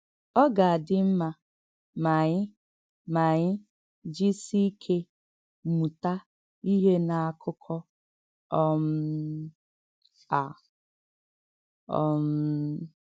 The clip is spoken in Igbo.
Ọ gà-àdị̀ mma mà ànyị mà ànyị jísì íké mùtà íhè n’ákụ́kọ̀ um à. um